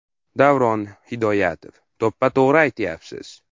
Davron Hidoyatov: To‘ppa-to‘g‘ri aytyapsiz.